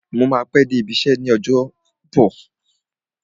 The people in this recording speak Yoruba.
Mo máa pẹ́ dé ibi iṣẹ́ l'ọ́jọ́bọ̀